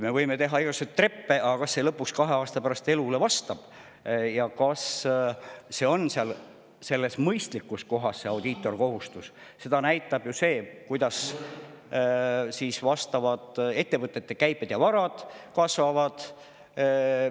Me võime teha igasuguseid treppe, aga seda, kas see lõpuks kahe aasta pärast elule vastab ja kas audiitorkontrolli kohustus on mõistlik, näitab ju see, kuidas vastavad ettevõtete käive ja varad kasvavad.